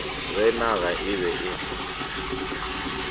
ge naga e be e